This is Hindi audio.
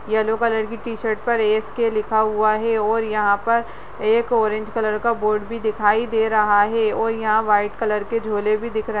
येलो कलर की टी शर्ट पर ऐस.के लिखा हुआ है और यहाँ पर एक ऑरेंज कलर का बोर्ड भी दिखाई दे रहा है और यहाँ व्हाइट कलर के झोले भी दिख रहे --